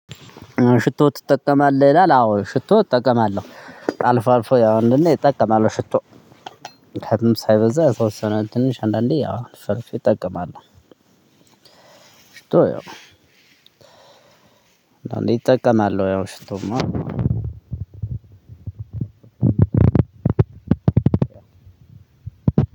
ሽቶ ትጠቀማለህ ይላል? አዎ ሽቶ እጠቀማለሁ አልፎ አልፎ ያው አንዳዴ እጠቀማለሁ ሽቶ። ከዛም ሳይበዛ የተወሰነ ትንሽ አንዳንዴ ያው አልፌ አልፌ እጠቀማለሁ። እጠቀማለሁ ያው ሽቶ እማ አዎ።